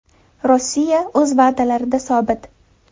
Rossiya o‘z va’dalarida sobit.